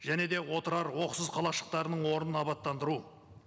және де отырар оқсыз қалашықтарының орнын абаттандыру